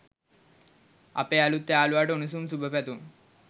අපේ අලුත් යාලුවට උණුසුම් සුබපැතුම්